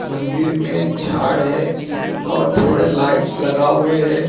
मंदिर में झाड़ है और थोड़े लाइट्स लगा हुए हैं।